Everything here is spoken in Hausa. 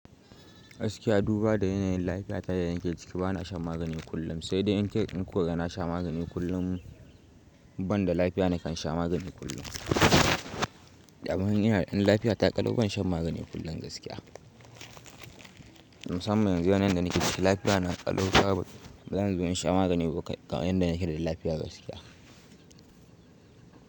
Gaskiya duba da yanayin lafiya ta yadda yake ciki bana shan magani kullum, sai dai in ku kaga na sha magani kullum, ban da lafiya na kan sha magani kullum. Amma in lafiya ta ƙalau ban shan magani kullum gaskiya. Musamman yanzu yanayin da yake ciki lafiya na ƙalau bazan zo in sha magani yadda nake da lafiya gaskiya.